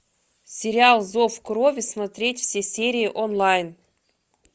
сериал зов крови смотреть все серии онлайн